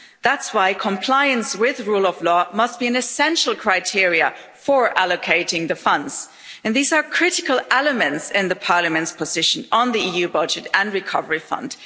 That's why compliance with rule of law must be an essential criteria for allocating the funds and these are critical elements in the Parliament's position on the EU budget and recovery fund.